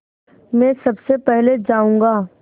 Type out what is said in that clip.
मैं सबसे पहले जाऊँगा